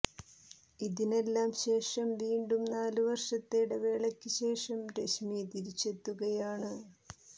ഇതിനെല്ലാം ശേഷം വീണ്ടും നാല് വര്ഷത്തെ ഇടവേളയ്ക്ക് ശേഷം രശ്മി തിരിച്ചെത്തുകയാണ്